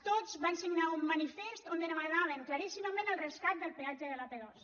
tots van signar un manifest on demanaven claríssimament el rescat del peatge de l’ap·dos